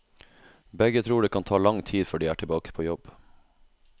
Begge tror det kan ta lang tid før de er tilbake på jobb.